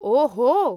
ओहो!